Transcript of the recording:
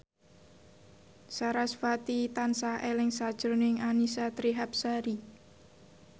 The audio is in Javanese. sarasvati tansah eling sakjroning Annisa Trihapsari